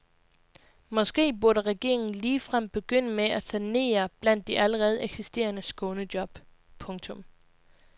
Måske burde regeringen ligefrem begynde med at sanere blandt de allerede eksisterende skånejob. punktum